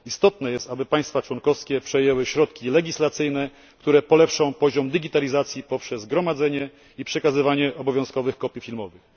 Istotne jest, aby państwa członkowskie przyjęły środki legislacyjne, które polepszą poziom digitalizacji, poprzez gromadzenie i przekazywanie obowiązkowych kopii filmowych.